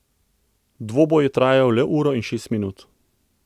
Dvoboj je trajal le uro in šest minut.